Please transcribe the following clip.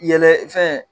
Yɛlɛ fɛn